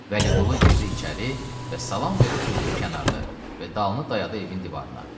Vəliqulu girdi içəri və salam verib durdu kənarda və dalı dayadı evin divarına.